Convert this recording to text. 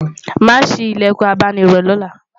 má sí ilẹkùn abáni rò lọla